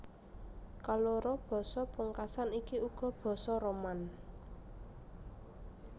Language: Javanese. Kaloro basa pungkasan iki uga basa Roman